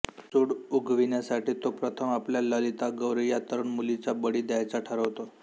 सूड उगविण्यासाठी तो प्रथम आपल्या ललितागौरी या तरुण मुलीचा बळी द्यायचा ठरवतो